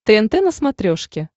тнт на смотрешке